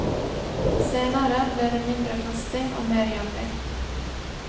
Senere ble det mindre festing og mer jobbing.